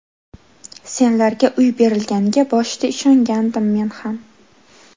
Senlarga uy berilganiga boshida ishongandim men ham.